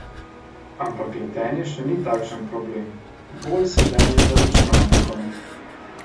Ampak letenje še ni takšen problem, bolj sedenje za računalnikom.